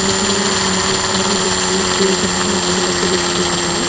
जिसमे अ जो है वो डिसप्ले किए गए हैं अलग-अलग तरह के कपड़े।